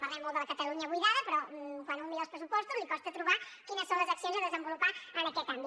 parlem molt de la catalunya buidada però quan un mira els pressupostos li costa trobar quines són les accions a desenvolupar en aquest àmbit